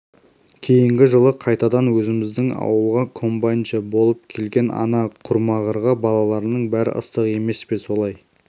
кейінгі жылы қайтадан өзіміздің ауылға комбайншы болып келген ана құрмағырға балаларының бәрі ыстық емес пе солай